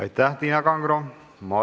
Aitäh, Tiina Kangro!